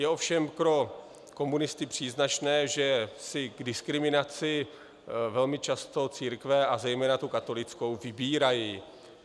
Je ovšem pro komunisty příznačné, že si k diskriminaci velmi často církve a zejména tu katolickou vybírají.